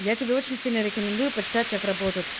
я тебе очень сильно рекомендую почитать как работает